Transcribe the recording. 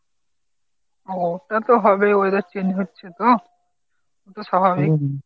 ও ওটা তো হবে weather change হচ্ছে তো, এ তো স্বাভাবিক ।